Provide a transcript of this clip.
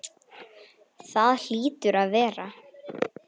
Það hlýtur að vera.